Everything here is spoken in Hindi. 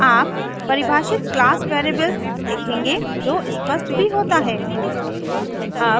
आप परिभाषित क्लास वेरिएबल देखेंगे जो स्पष्ट भी होता है